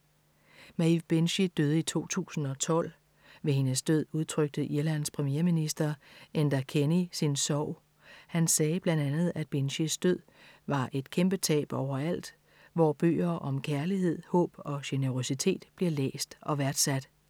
Maeve Binchy døde i 2012. Ved hendes død udtrykte Irlands premierminister Enda Kenny sin sorg. Han sagde blandt andet, at Binchys død var et kæmpe tab overalt, hvor bøger om kærlighed, håb og generøsitet bliver læst og værdsat.